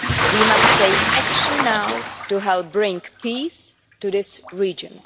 We must take action now to help bring peace to this region.